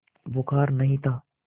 बुखार नहीं था